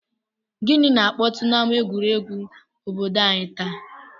Gịnị na-akpọtụ n'ama egwuregwu obodo anyị taa?